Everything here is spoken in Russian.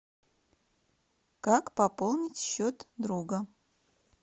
как пополнить счет друга